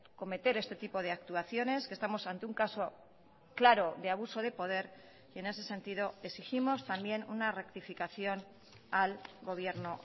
cometer este tipo de actuaciones que estamos ante un caso claro de abuso de poder y en ese sentido exigimos también una rectificación al gobierno